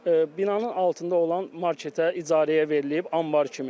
Binanın altında olan marketə icarəyə verilib, anbar kimi.